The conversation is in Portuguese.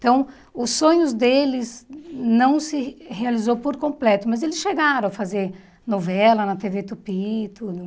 Então, os sonhos deles não se realizou por completo, mas eles chegaram a fazer novela na tê vê Tupi e tudo.